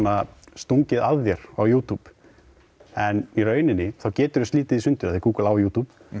stungið að þér á YouTube en í rauninni geturðu slitið það í sundur því Google á YouTube